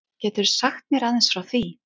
Geturðu sagt mér aðeins frá því?